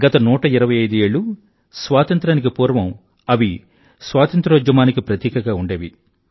గత 125 ఏళ్ళు స్వాతంత్రానికి పూర్వం అవి స్వాతంత్ర్యోద్యమానికి ప్రతీకగా ఉండేవి